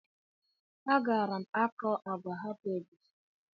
Agaara m akọ agwa hapụ egusi?